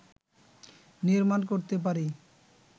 নির্মাণ করতে পারি